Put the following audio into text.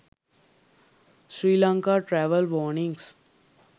sri lanka travel warnings